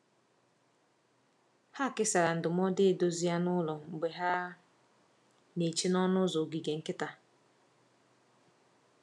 Ha kesara ndụmọdụ edozi anụ ụlọ mgbe ha na-eche n’ọnụ ụzọ ogige nkịta.